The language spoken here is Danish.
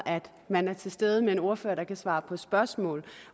man er til stede med en ordfører der kan svare på spørgsmål